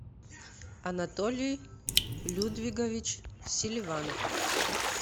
анатолий людвигович селиванов